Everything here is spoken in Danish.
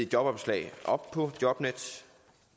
jobopslag op på jobnet